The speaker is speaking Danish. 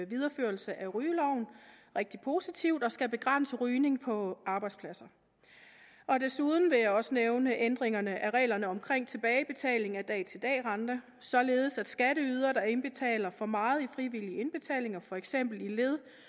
videreførelse af rygeloven rigtig positivt og skal begrænse rygning på arbejdspladsen desuden vil jeg også nævne ændringerne af reglerne om tilbagebetaling af dag til dag renter således at skatteydere der indbetaler for meget i frivillig indbetaling for eksempel i